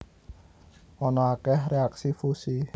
Ana akeh reaksi fusi